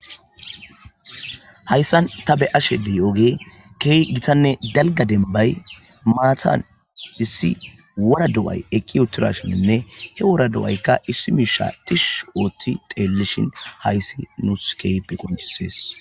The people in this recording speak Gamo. Hayssan ta be ashe dii oge kee gitanne dalga denbay maatan issi wora do'ay ekki utirashininne he wora do'aykka issi miisha tish ooththi teelleshin hayssi nu skeype qonisees